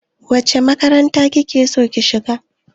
Wace makaranta ki ke so ki shiga?